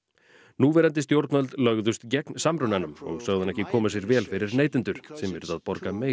núverandi stjórnvöld lögðust gegn samrunanum og sögðu hann ekki koma sér vel fyrir neytendur sem yrðu að borga meira